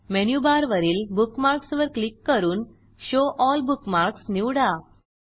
menu बारवरील bookmarks वर click करून शो एल बुकमार्क्स निवडा